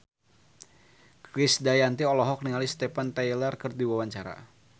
Krisdayanti olohok ningali Steven Tyler keur diwawancara